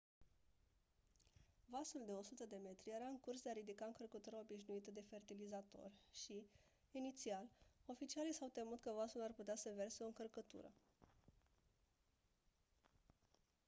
vasul de 100 de metri era în curs de a ridica încărcătura obișnuită de fertilizator și inițial oficialii s-au temut că vasul ar putea să verse o încărcătură